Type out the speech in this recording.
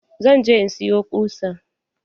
Zan je in siyo ƙusa.